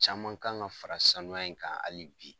Caman kan ka fara sanuya in kan hali bi